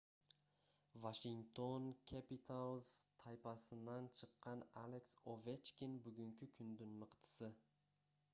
вашингтоон кэпиталз тайпасынан чыккан алекс овечкин бүгүнкү күндүн мыктысы